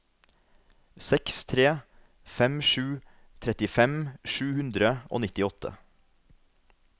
seks tre fem sju trettifem sju hundre og nittiåtte